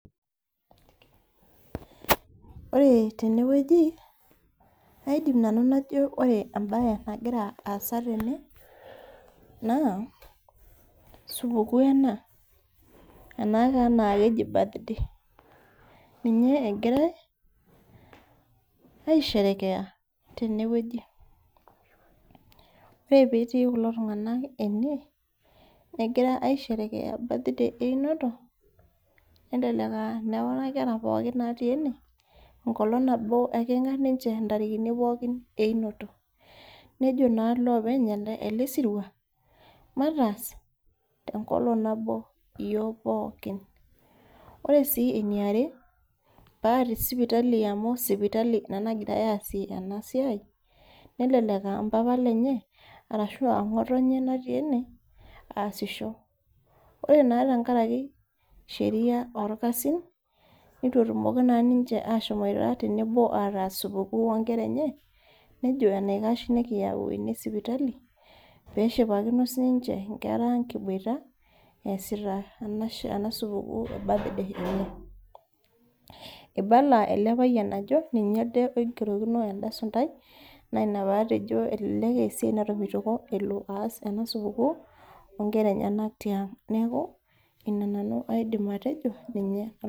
Ore tene wueji, aidim nanu najo ore embaye nagira aasa tenewueji naa supukuu ena, anaa keji birthday, ninye egirai aisherekea tene wueji. Ore pee etii kulo tung'ana ene, negira aisherekea birthday e eunoto, elelek aa nekuna kera pookin natii ene, enkolong' nabo, ekeng'ar ninche enkolong' nabo e eyunoto, nejo naa iloopeny ele sirua, mataas tenkolong' nabo ele sirua. Ore sii ene are, te sipitali amy sipitali ena nagira aasie ena siai, nelelek aa mpapa lenye arashu aa ng'otonye natii ene aasisho. Ore naa tenkaraki sheria olkasin, neitu naa etumoki ninche ahomoito ataas tenebo ataas supukuu o inkera enye, nejo eneikash nekiyau ene e sipitali, pee eshipakino sii ninche inkera ang' kiboita, easita ena supukuu e birthday enye. Eibala ele payian ajo ninye elde oigerokino elde sunntai naa ina patejo elelek aa esiai natomitioko elo aas ena supukuu, o inkera enyena tiang', neaku ina nanu aidim atejo ninye.